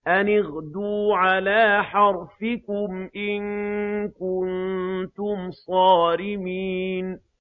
أَنِ اغْدُوا عَلَىٰ حَرْثِكُمْ إِن كُنتُمْ صَارِمِينَ